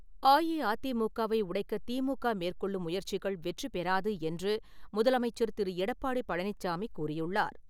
அஇஅதிமுகாவை உடைக்க திமுக மேற்கொள்ளும் முயற்சிகள் வெற்றிப்பெறாது என்று முதலமைச்சர் திரு. எடப்பாடி பழனிச்சாமி கூறியுள்ளார்.